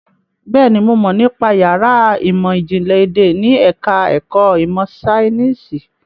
Bẹ́ẹ̀ni, mo mọ̀ nípa yàrá ìmọ̀ ìjìnlẹ̀ èdè ní ẹ̀ka ẹ̀kọ́ ìmọ̀ Ṣainíìsì.